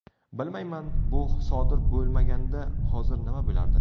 Bilmayman, bu sodir bo‘lmaganida hozir nima bo‘lardi.